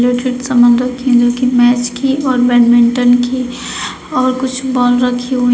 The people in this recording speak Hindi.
क्रिकेट सामान रखी है जोकि मैच की और बैडमिंटन की और कुछ बॉल रखी हुई है।